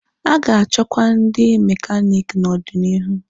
A ga-achọkwa ndi mekaniki n'ọdịniihu.